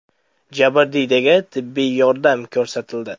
Jabrdiydaga tibbiy yordam ko‘rsatildi.